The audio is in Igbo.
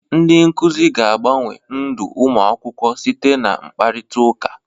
Ndị nkuzi ga-agbanwe ndụ ụmụ akwụkwọ site na mkparịtaụka.